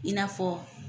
I n'a fɔ